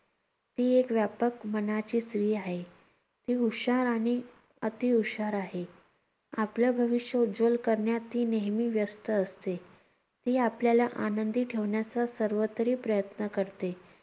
ती एक व्यापक मनाची स्त्री आहे. ती हुशार आणि अतिहुशार आहे. आपलं भविष्य उज्ज्वल करण्यात ती नेहमी व्यस्त असते. ती आपल्याला आनंदी ठेवण्याचं सर्वतरी प्रयत्न करते.